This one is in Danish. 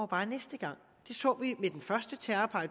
bare næste gang det så vi med den første terrorpakke